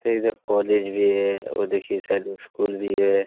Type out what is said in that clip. ते इधर कॉलेज भी है और देखिये साइड में स्कूल भी है।